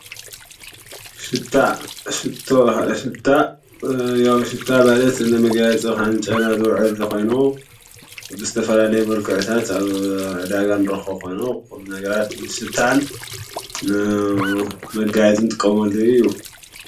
ሽታ ሽቶ ሽታ ሽቶ ያዉ ሽታ ማለት ንመጋየፂ ኮነ ንጨና ዝውዕል ኮይኑ ብዝተፈላለየዩ መልክዕታት ኣብ ዕዳጋ እንረክቦ ኮይኑ ኩሉ ነገራት ንሽታን ንመጋየፂ ንጥቀመሉ እዩ።